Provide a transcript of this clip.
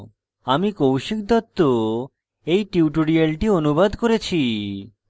আমি কৌশিক দত্ত এই টিউটোরিয়ালটি অনুবাদ করেছি